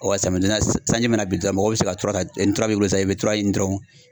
samiya deni na sanji mana bin dɔrɔn mɔgɔw bɛ se ka ntura ta ni ntura b'i bolo sisan i bɛ ntura ɲini dɔrɔn